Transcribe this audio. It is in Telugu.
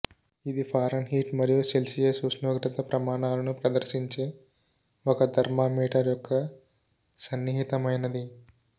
ఇది ఫారన్హీట్ మరియు సెల్సియస్ ఉష్ణోగ్రత ప్రమాణాలను ప్రదర్శించే ఒక థర్మామీటర్ యొక్క సన్నిహితమైనది